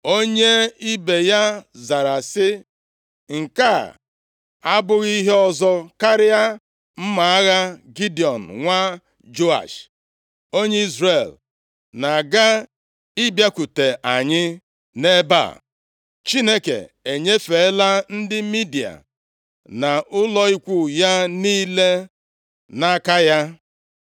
Onye ibe ya zara sị, “Nke a abụghị ihe ọzọ karịa mma agha Gidiọn nwa Joash, onye Izrel na-aga ịbịakwute anyị nʼebe a. Chineke enyefeela ndị Midia na ụlọ ikwu ya niile nʼaka ya.”